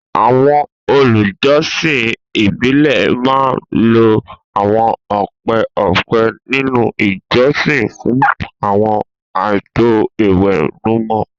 àwọn olùjọsìn ìbílẹ̀ máa ń lo àwọn ọ̀pẹ ọ̀pẹ nínú ìjọsìn fún àwọn ààtò ìwẹ̀nùmọ́.